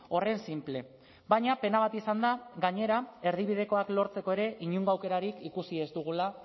horren sinple baina pena bat izan da gainera erdibidekoak lortzeko ere inongo aukerarik ikusi ez dugula